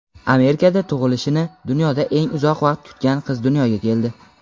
Amerikada tug‘ilishini dunyoda eng uzoq vaqt kutgan qiz dunyoga keldi.